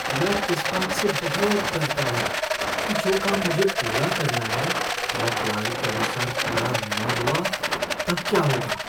मैं इस बात से बहुत डरता हूँ कि जो काम मुझे पूरा करना है वह प्लान के अनुसार पूरा न हुआ तब क्या होगा।